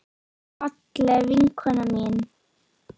Fallega vinkona mín.